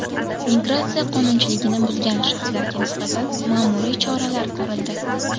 Migratsiya qonunchiligini buzgan shaxslarga nisbatan ma’muriy choralar ko‘rildi.